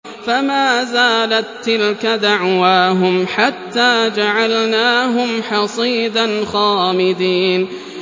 فَمَا زَالَت تِّلْكَ دَعْوَاهُمْ حَتَّىٰ جَعَلْنَاهُمْ حَصِيدًا خَامِدِينَ